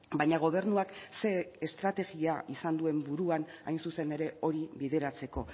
baina gobernuak ze estrategia izan duen buruan hain zuzen ere hori bideratzeko